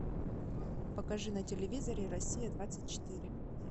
покажи на телевизоре россия двадцать четыре